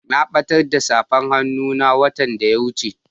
Na batar da safar hannun na watan da ya wuce.